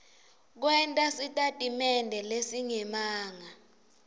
kwenta sitatimende lesingemanga